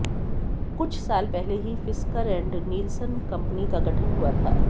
कुछ साल पहले ही फिस्कर एंड नीलसन कंपनी का गठन हुआ था